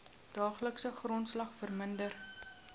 daaglikse grondslag verminder